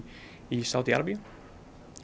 í Sádi Arabíu